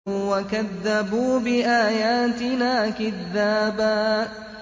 وَكَذَّبُوا بِآيَاتِنَا كِذَّابًا